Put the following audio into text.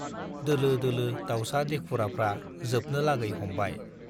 दोलो दोलो दाउसा देखुराफ्रा जोबनो लागै हमबाय।